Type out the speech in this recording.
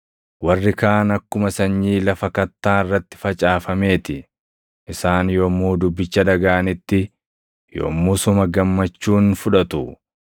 Warri kaan akkuma sanyii lafa kattaa irratti facaafamee ti; isaan yommuu dubbicha dhagaʼanitti yommusuma gammachuun fudhatu.